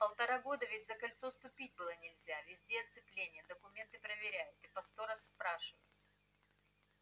полтора года ведь за кольцо ступить было нельзя везде оцепление документы проверяют и по сто раз спрашивают